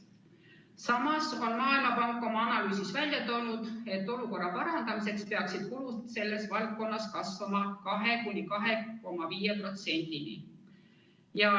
Samas on Maailmapank oma analüüsis välja toonud, et olukorra parandamiseks peaksid kulud selles valdkonnas kasvama 2–2,5%-ni.